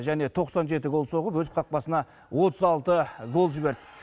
және тоқсан жеті гол соғып өз қақпасына отыз алты гол жіберді